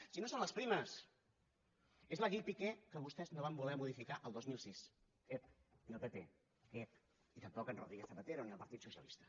si no són les primes és la llei piqué que vostè no van voler modificar el dos mil sis ep ni el pp ep i tampoc en rodríguez zapatero ni el partit socialista